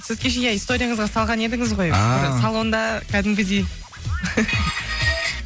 сіз кеше иә историяңызға салған едіңіз ғой ааа салонда кәдімгідей